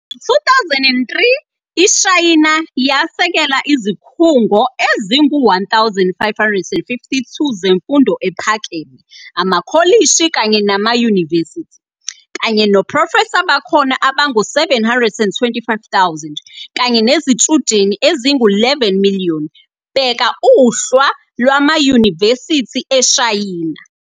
Ngo 2003, iShayina yasekela izikhungo ezingu 1,552 zemfundo ephakeme, amakholishi kanye namayunivesithi, kanye noprofesa bakhona abangu 725,000 kanye nezitshudeni ezingu 11 miliyoni, bheka Uhla lwamayunivesithi eShayina.